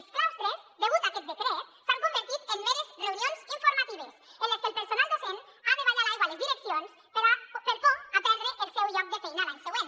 els claustres degut a aquest decret s’han convertit en meres reunions informatives en les que el personal docent ha de ballar l’aigua a les direc·cions per por a perdre el seu lloc de feina l’any següent